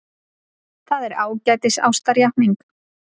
Það er ágætis ástarjátning.